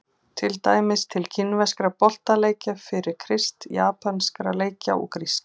Til dæmis til kínverskra boltaleikja fyrir Krist, japanskra leikja og grískra.